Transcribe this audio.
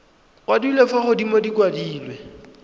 kwadilwe fa godimo di kwadilwe